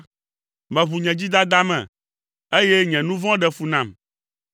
Meʋu nye dzidada me, eye nye nu vɔ̃ ɖe fu nam.